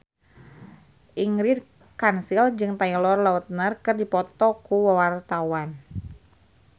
Ingrid Kansil jeung Taylor Lautner keur dipoto ku wartawan